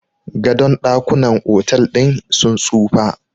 gadon dakunan otal din sun tsufa